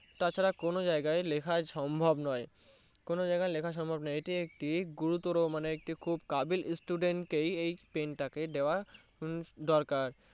তার ছাড়া কোনো জিয়াই লেখা সম্ভব নয় কোনো জায়গায় লেখা সম্ভব নয় এতে একটি গুরুতর মানে একটি খুব কাবিল Student কেই Pen তা কে দেয়া হম দরকার